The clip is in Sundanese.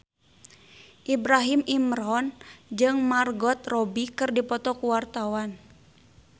Ibrahim Imran jeung Margot Robbie keur dipoto ku wartawan